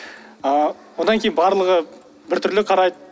ы одан кейін барлығы бір түрлі қарайды